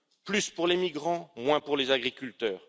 plus pour les migrants, moins pour les agriculteurs.